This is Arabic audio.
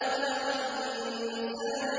خَلَقَ الْإِنسَانَ